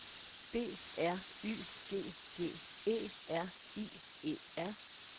B R Y G G E R I E R